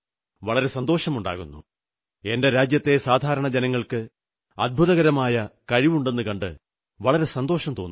വളരെ സന്തോഷമുണ്ടാകുന്നു എന്റെ രാജ്യത്തെ സാധാരണ ജനങ്ങൾക്ക് അദ്ഭുതകരമായ കഴിവുണ്ടെന്നു കണ്ട് വളരെ സന്തോഷം തോന്നുന്നു